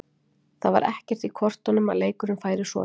Það var ekkert í kortunum að leikurinn færi svona.